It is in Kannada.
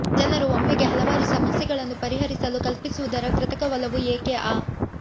ಜನರು ಒಮ್ಮೆಗೆ ಹಲವಾರು ಸಮಸ್ಯೆಗಳನ್ನು ಪರಿಹರಿಸಲು ಕಲ್ಪಿಸುವುದರ ಕೃತಕ ಒಲವು ಏಕೆ ಆ